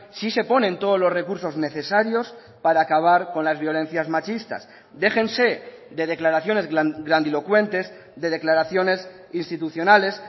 sí se ponen todos los recursos necesarios para acabar con las violencias machistas déjense de declaraciones grandilocuentes de declaraciones institucionales